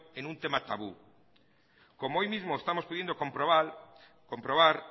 en un tema tabú como hoy mismo estamos pudiendo comprobar